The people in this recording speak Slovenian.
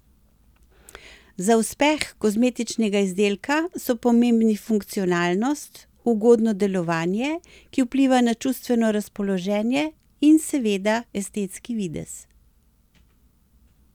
Za uspeh kozmetičnega izdelka so pomembni funkcionalnost, ugodno delovanje, ki vpliva na čustveno razpoloženje, in seveda estetski videz.